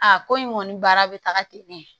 A ko in kɔni baara bɛ taga ten ne